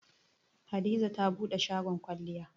Hadiza ta buɗe shagon kwalliya.